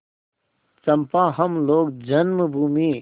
चंपा हम लोग जन्मभूमि